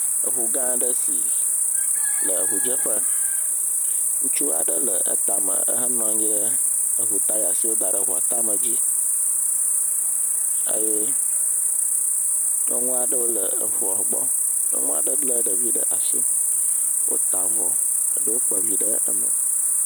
Eŋugã aɖe si le eŋudzeƒe, ŋutsu aɖe le eta me ehenɔ anhyi ɖe eŋutaya si woda ɖe eŋua tame dzi eye nyɔnu aɖewo le eŋua gbɔ, nyɔnu aɖe lé ɖevi ɖe asi wota avɔ eɖewo kpa vi ɖe me.